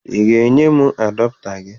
Ị ga-enye m adapụta gị?